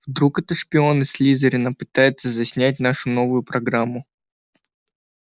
вдруг это шпион из слизерина пытается заснять нашу новую программу